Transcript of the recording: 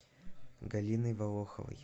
галиной волоховой